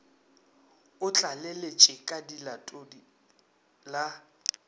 o tlaleletše ka lelatodi la